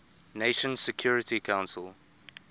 nations security council